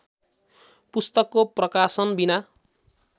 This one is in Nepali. पुस्तकको प्रकाशनबिना